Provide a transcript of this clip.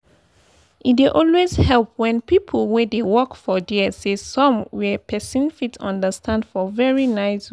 e dey always help when people wey dey work for dere say some where person fit understand for very nice way.